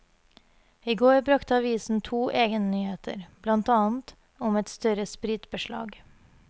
I går brakte avisen to egennyheter, blant annet om et større spritbeslag.